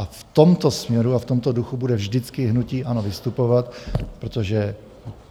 A v tomto směru a v tomto duchu bude vždycky hnutí ANO vystupovat, protože